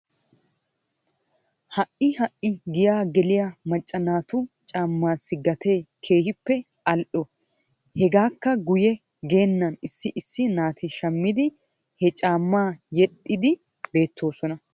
Ha"i ha"i giyaa geliyaa macca naatu caamaassi gatee keehippe al"o. Hegaakka guye geennan issi issi naati shammidi he caamaa yedhdhiidi beettoosona.